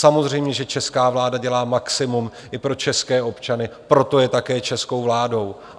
Samozřejmě, že česká vláda dělá maximum i pro české občany, proto je také českou vládou.